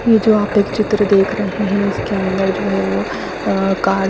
ये जो आप एक चित्र देख रहे है इसके अंदर जो है वो आ कार--